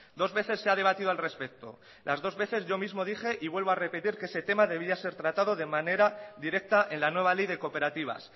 dos veces se ha debatido al respecto las dos veces yo mismo dije y vuelvo a repetir que ese tema debía ser tratado de manera directa en la nueva ley de cooperativas